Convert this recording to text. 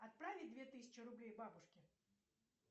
отправить две тысячи рублей бабушке